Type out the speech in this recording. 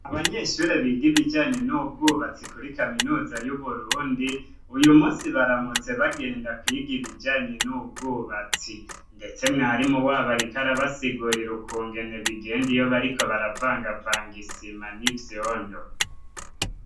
Abanyeshure biga ibijanye n'ubwubatsi kuri Kaminuza y'Uburundi, uyu munsi baramutse bagenda kwiga ibijanye n'ubwubatsi. Ndetse mwarimu wabo ariko arabasigura ukungene bigenda iyo bariko baravangavanga isima n'ivyondo.